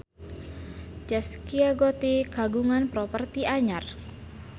Zaskia Gotik kagungan properti anyar